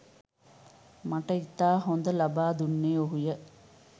මට ඉතා හොඳ ලබා දුන්නේ ඔහුය